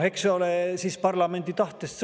See sõltub siis parlamendi tahtest.